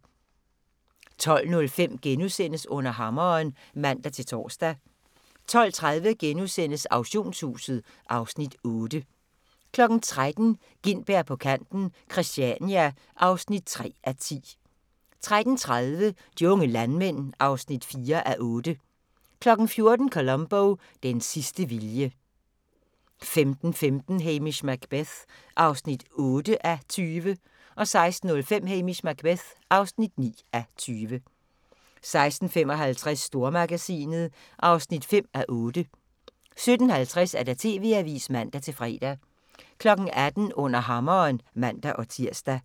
12:05: Under Hammeren *(man-tor) 12:30: Auktionshuset (Afs. 8)* 13:00: Gintberg på kanten - Christania (3:10) 13:30: De unge landmænd (4:8) 14:00: Columbo: Den sidste vilje 15:15: Hamish Macbeth (8:20) 16:05: Hamish Macbeth (9:20) 16:55: Stormagasinet (5:8) 17:50: TV-avisen (man-fre) 18:00: Under Hammeren (man-tir)